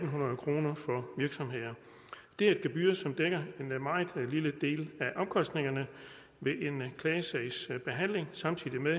hundrede kroner for virksomheder det er et gebyr som dækker en meget lille del af omkostningerne ved en klagesagsbehandling samtidig med